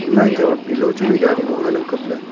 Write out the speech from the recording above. ima chongba pillow chu vai dya ding ma nganang kaple.